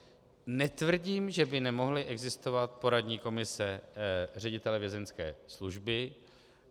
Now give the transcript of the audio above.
Netvrdím, že by nemohly existovat poradní komise ředitele vězeňské služby.